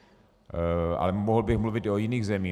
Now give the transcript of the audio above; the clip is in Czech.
Ale mohl bych mluvit i o jiných zemích.